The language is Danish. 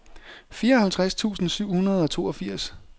fireoghalvtreds tusind syv hundrede og toogfirs